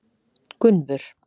Gunnvör